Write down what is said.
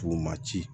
K'u ma ci